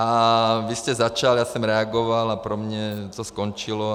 A vy jste začal, já jsem reagoval a pro mě to skončilo.